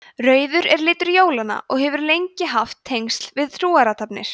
rauður er litur jólanna og hefur lengi haft tengsl við trúarathafnir